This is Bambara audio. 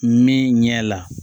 Min ɲɛ la